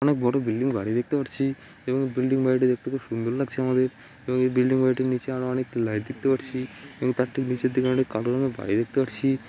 অনেক বড়ো বিল্ডিং বাড়ি দেখতে পারচ্ছি এবং বিল্ডিং বাড়িটা দেখতে খুব সুন্দর লাগছে আমাদের এবং বিল্ডিং বাড়িটির নিচে আমরা অনেক লাইট দেখতে পাচ্ছি এবং তার ঠিক নিচের দিকে আমরা কালো রঙের বাড়ি দেখতে পারচ্ছি।